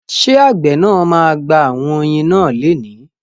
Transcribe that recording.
Ṣé àgbẹ̀ náà ma gba àwọn oyin náà leni?